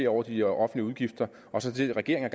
over de offentlige udgifter og så det regeringen